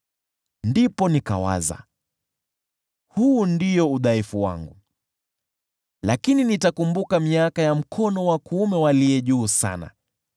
Ndipo nikawaza, “Huu ndio udhaifu wangu: lakini nitakumbuka miaka ya mkono wa kuume wa Aliye Juu Sana.”